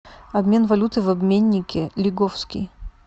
обмен валюты в обменнике лиговский